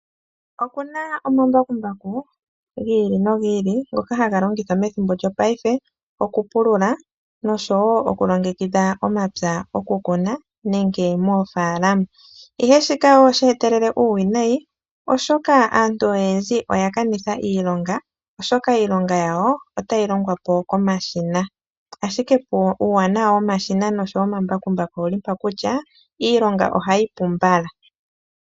Okuna omambakumbaku gi ili nogi ili ngoka haga longithwa methimbo lyopaife okupulula nosho woo oku longekidha omapya oku kuna nenge moofaalama, ihe shika osheetelele nuuwinayi oshoka aantu oyendji oya kanitha iilonga, oshoka iilongo yawo otayi longwa po komashina ashike uuwanawa womashina nomambakumbaku owuli mpano kutya iilonga ohayi pu mbala.